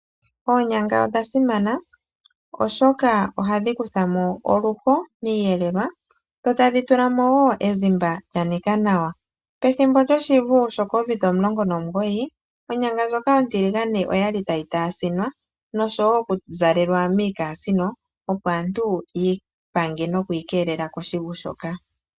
Oonyanga odha simana oshoka ohadhi kuthamo oluho miiyelelwa dho tadhi tulamo wo ezimba lya nika nawa. Pethimbo lyoshivu shoCovid19 onyanga ndjoka ontiligane oyali tayi taasinwa noshowo oku zalelwa miikasino opo aantu yi ipange noku ikeelela koshivu shoka.